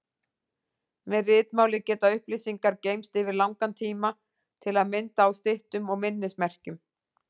Með ritmáli geta upplýsingar geymst yfir langan tíma, til að mynda á styttum og minnismerkjum.